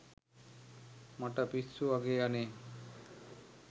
මට පිස්සු වගේ අනේ